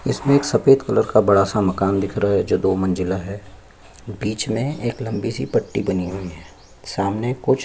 इसमें एक सफ़ेद कलर का बड़ा सा मकान दिख रहा है जो दो अंजिला है बीच में एक लम्बी सी पट्टी बनी हुई है सामने कुछ--